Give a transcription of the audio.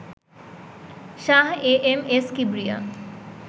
Shah A M S Kibria